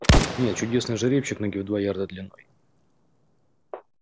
нет чудесный жеребчик ноги в два ярда длиной